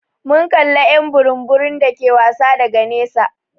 Mun kalla y'an burum burum dake wasa daga nesa.